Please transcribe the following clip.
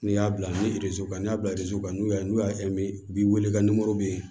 N'i y'a bila ni kan ni y'a bila kan n'u y'a n'u y'a mɛn bi wele ka bɛ yen